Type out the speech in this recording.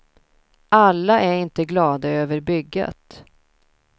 Alla är inte glada över bygget.